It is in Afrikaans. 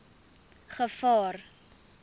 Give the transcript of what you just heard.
gevaar